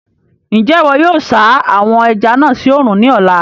Njẹ iwọ yóò sa àwon ẹja náà sí oòrùn ní ọ̀la?